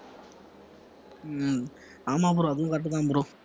உம் ஆமா bro அதுவும் correct தான் bro